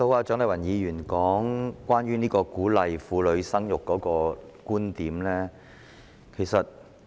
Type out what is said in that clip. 蔣麗芸議員剛才提出她對於鼓勵婦女生育的觀點。